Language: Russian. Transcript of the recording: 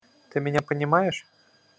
ты меня понимаешь